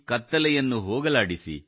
ಕತ್ತಲೆಯನ್ನು ಹೋಗಲಾಡಿಸಿ